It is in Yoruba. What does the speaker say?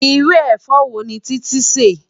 Irú efò wóni Titi nsè?